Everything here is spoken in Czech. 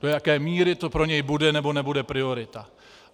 Do jaké míry to pro něj bude nebo nebude priorita.